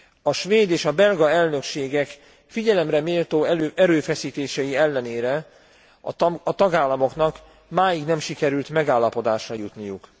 A svéd és a belga elnökségek figyelemre méltó erőfeszítései ellenére a tagállamoknak máig nem sikerült megállapodásra jutniuk.